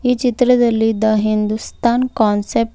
ಈ ಚಿತ್ರದಲ್ಲಿ the Hindustan concept --